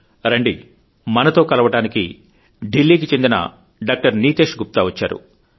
రండి మనతో కలవడానికి ఢిల్లీకి చెందిన డాక్టర్ నీతేష్ గుప్త వచ్చారు